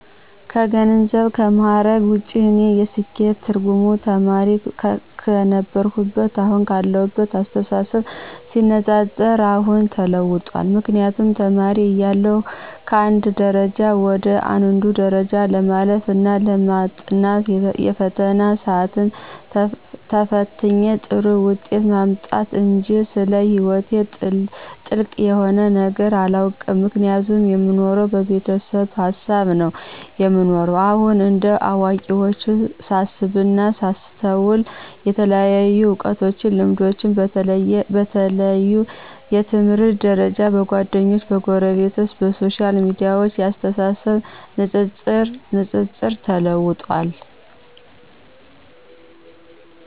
ከገንዘብና ከምዕረግ ውጭ የእኔ የስኬት ትርጉም ተማሪ ክነበርሁትና አሁን ካለሁት አስተሳሰብ ሲነፃፀር የአሁኑ ተለውጧል ምክንያቱም ተማሪ እያለሁ ከአንድ ደረጃ ወደ አንዱ ደረጃ ማለፍ እና ማጥናት የፈተና ስአትን ተፍትኝ ጥሩ ውጤት ማምጣትጅ ስለ ሕይወቴ ጥልቅ የሆነ ነገር አላውቅም ምክንያቱም የምኖረው በቤተሰብ ሀሳብ ነው የምኖረው። አሁን እንደ አዋቂዎች ሳስብና ሳስተውል የተለያዩ እውቀቶችና ልምዶች በተለያዩ የትምህርት ደርጃዎች፣ በጓደኞቸ፣ በጎረቤት፣ በሶሻል ሚዲያዎች የአስተሳሰብ ንጽጽር ተለውጧል።